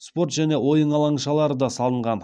спорт және ойын алаңшалары да салынған